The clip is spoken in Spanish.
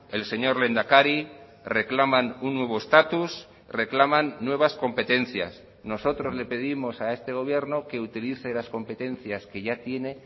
el señor lehendakari reclaman un nuevo estatus reclaman nuevas competencias nosotros le pedimos a este gobierno que utilice las competencias que ya tiene